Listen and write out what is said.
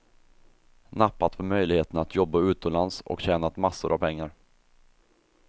Nappat på möjligheten att jobba utomlands och tjänat massor av pengar.